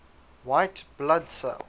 white blood cell